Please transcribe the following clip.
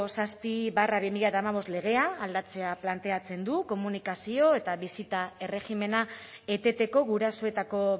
zazpi barra bi mila hamabost legea aldatzea planteatzen du komunikazio eta bisita erregimena eteteko gurasoetako